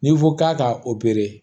N'i ko k'a ka opere